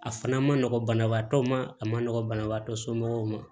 A fana ma nɔgɔn banabaatɔw ma a ma nɔgɔ banabaatɔ somɔgɔw ma